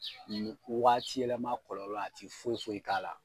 Nin wagati yɛlɛma kɔlɔlɔ a ti foyi foyi k'a la